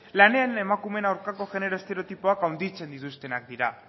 lanean emakumeen aurkako genero estereotipoak handitzen dituztenak dira